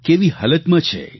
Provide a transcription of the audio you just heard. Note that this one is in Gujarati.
કેવી હાલતમાં છે